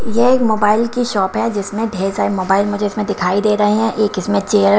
यह एक मोबाइल की शॉप है जिसमें ढेर सारे मोबाइल मुझे इसमें दिखाई दे रहे हैं एक इसमें चेयर --